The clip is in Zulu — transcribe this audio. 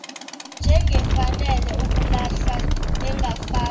njengefanele ukulahlwa engafakwa